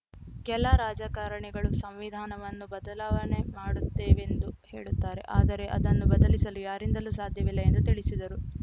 ಕೆಲ ರಾಜಕಾರಣಿಗಳು ಸಂವಿಧಾನವನ್ನು ಬದಲಾವಣೆ ಮಾಡುತ್ತೇವೆಂದು ಹೇಳುತ್ತಾರೆ ಆದರೆ ಅದನ್ನು ಬದಲಿಸಲು ಯಾರಿಂದಲೂ ಸಾಧ್ಯವಿಲ್ಲ ಎಂದು ತಿಳಿಸಿದರು